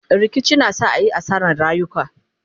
rikici na sa ayi asarar rayuka